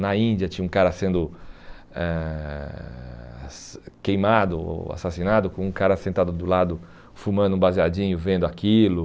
Na Índia tinha um cara sendo eh queimado ou assassinado com um cara sentado do lado fumando um baseadinho vendo aquilo.